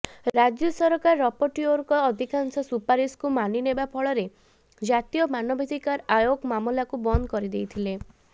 ରାଜ୍ୟ ସରକାର ରପୋଟିଓରଙ୍କ ଅଧିକାଂଶ ସୁପାରିଶକୁ ମାନିନେବା ଫଳରେ ଜାତୀୟ ମାନବାଧିକାର ଆୟୋଗ ମାମଲାକୁ ବନ୍ଦ କରିଦେଇଥିଲେ